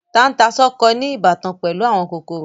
Tata-n-sánkọ ní ìbátan pẹ̀lú àwọn kòkòrò.